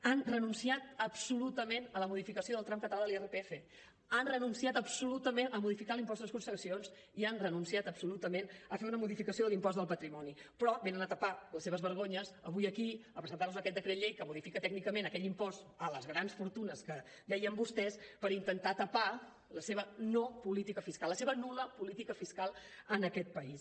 han renunciat absolutament a la modificació del tram català de l’irpf han renunciat absolutament a modificar l’impost de successions i han renunciat absolutament a fer una modificació de l’impost del patrimoni però venen a tapar les seves vergonyes avui aquí a presentar nos aquest decret llei que modifica tècnicament aquell impost a les grans fortunes que deien vostès per intentar tapar la seva no política fiscal la seva nul·la política fiscal en aquest país